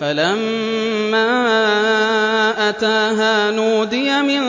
فَلَمَّا أَتَاهَا نُودِيَ مِن